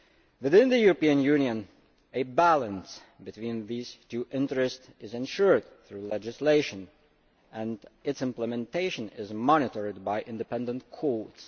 Within the EU a balance between these two interests is ensured through legislation, and its implementation is monitored by independent courts.